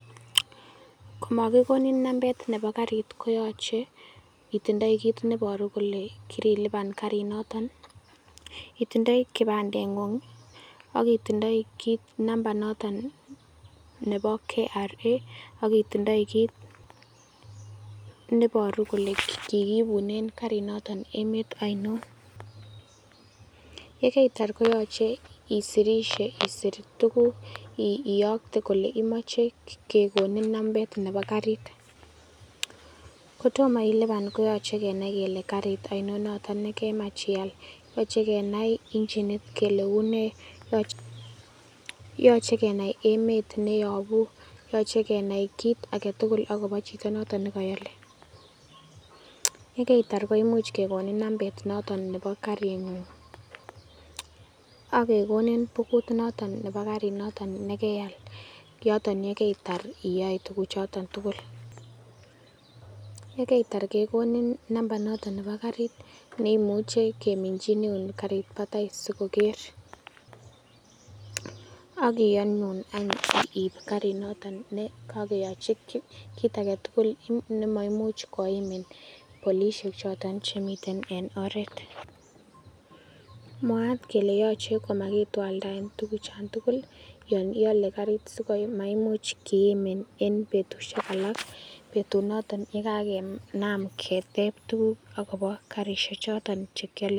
Komokigonin nambet nebo karit koyoche itindoi kiit neiboru kole kirilipan karinoton, itindoi kipandeng'ung, ak itindoi nambait noton nebo KRA, ak itindoi kit neboru kole kigibunen karinoto emet ainon. Ye keitar koyoche isirishe isir tuguk iyokte kole imoche kegonin nambet nebo karit kotomo ilipan koyoche kenai kolle karit ainon nooton nekemach ial. Yochekenai injinit kele unee? yochekenai emet neyobu, yoche kenai kit age tugul agobo chito noton ne koole, ye keitar koimuch kegonin nambet noton nebo karing'ung ak kegonin bukut noton nebo karinoto nekeal yoton ye kaitar iyoe tuguchoton tugul. Ye keitar kegonin nambait noton nebo karit ne imuche kiminchineun karit batai sikoker ak kiyonun anyun ib karinoto ne kokeyochi kit age tugul nemaimuch koimin polisiek chotet chemiten en oret. Mwaat kele yoche komakitwaldaen tuguchoto tugul yon iale karit sikomaimuch kiimin en betushek alak. Betunoton ye kagenam keteb tuguk agobo karishek choton che kiolle.